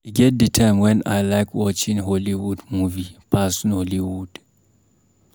E get di time wen I like watching hollywood movie pass nollywood.